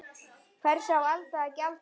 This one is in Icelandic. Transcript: Hvers á Alda að gjalda?